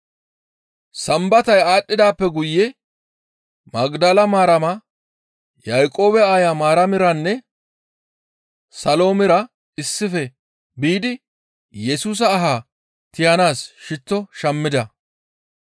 Sambatay aadhdhidaappe guye Magdale Maarama, Yaaqoobe aayo Maaramiranne Saloomira issife biidi Yesusa aha tiyanaas shitto shammida.